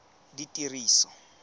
ditiriso